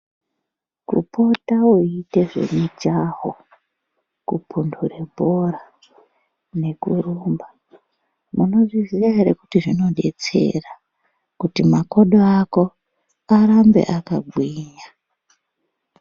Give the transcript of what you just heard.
Kupota weita zvemijaho ,kupunhure bhora nekurumba munozviziya ere kuti zvinodetsera kuti makodo ako arambe akagwinya.